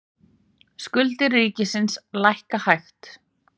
Skuldir ríkisins lækka hægt